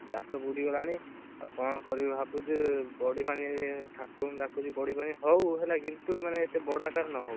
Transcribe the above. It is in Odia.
ଚାଷ ବୁଡ଼ି ଗଲାଣି, ଆଉ କଣ କରିବୁ ବୋଲି ଭାବୁଛୁ? ବଢି ପାଣି ଠାକୁରଙ୍କୁ ଡାକୁଛି ବଢିପାଣି ହଉ ହେଲା କିନ୍ତୁ ମାନେ ଏତେ ବଡ ଆକାରରେ ନ ହଉ,